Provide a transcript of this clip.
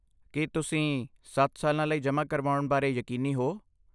ਕੀ ਤੁਸੀਂ ਸੱਤ ਸਾਲਾਂ ਲਈ ਜਮ੍ਹਾ ਕਰਵਾਉਣ ਬਾਰੇ ਯਕੀਨੀ ਹੋ?